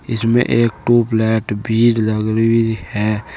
इसमें एक टूबलाइट भी लग रही है।